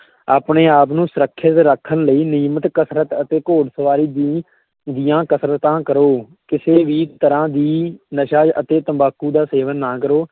ਆਪਣੇ ਆਪ ਨੂੰ ਸੁਰੱਖਿਅਤ ਰੱਖਣ ਲਈ, ਨਿਯਮਤ ਕਸਰਤ ਅਤੇ ਘੋੜ ਸਵਾਰੀ ਦੀ ਦੀਆਂ ਕਸਰਤਾਂ ਕਰੋ, ਕਿਸੇ ਵੀ ਤਰਾਂ ਦੀ ਨਸ਼ਾ ਅਤੇ ਤੰਬਾਕੂ ਦਾ ਸੇਵਨ ਨਾ ਕਰੋ।